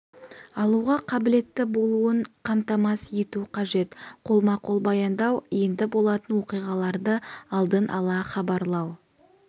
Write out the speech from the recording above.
алуға қабілетті болуын қамтамасыз ету қажет қолма қол баяндау енді болатын оқиғаларды алдын ала хабарлау